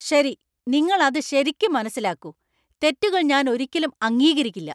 ശരി, നിങ്ങൾ അത് ശരിക്ക് മനസ്സിലാക്കൂ. തെറ്റുകൾ ഞാന്‍ ഒരിക്കലും അംഗീകരിക്കില്ല.